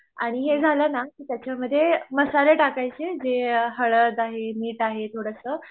आणि हे झालंना की त्याच्यामध्ये मसाले टाकायचे जे हळद आहें मीठ आहें थोडंसं